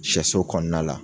Sɛso kɔnɔna la